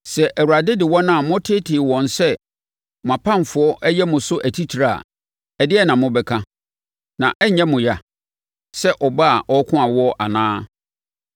Sɛ Awurade de wɔn a motetee wɔn sɛ mo apamfoɔ yɛ mo so atitire a ɛdeɛn na mobɛka? Na ɛrenyɛ mo yea sɛ ɔbaa a ɔreko awoɔ anaa?